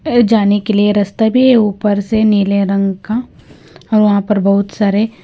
ऐ जाने के लिए रास्ता भी ऊपर से नीले रंग का और वहां पर बहुत सारे--